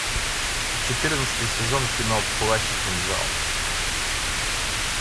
четырнадцатый сезон кино плащ и кинжал